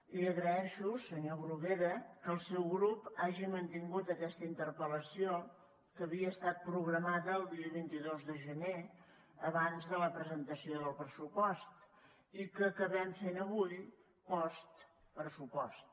li agraeixo senyor bruguera que el seu grup hagi mantingut aquesta interpel·lació que havia estat programada el dia vint dos de gener abans de la presentació del pressupost i que acabem fent avui postpressupost